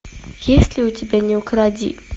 есть ли у тебя не укради